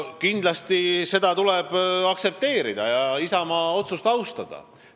Kindlasti tuleb seda aktsepteerida, Isamaa otsust austada.